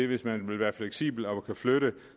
hvis man vil være fleksibel og kan flytte